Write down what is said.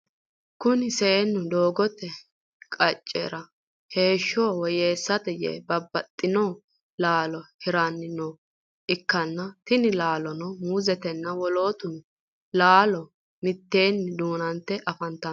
Kunni seenni doogote qacera heeshonsa woyeessate yee babbaxino laalo hiranni nooha ikanna tinni laalono muuzetenna wolootu laalono miteenni duunante afantano.